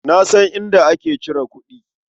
Na san inda ake cire kuɗi.